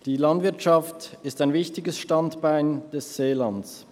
Die Landwirtschaft ist ein wichtiges Standbein des Seelands.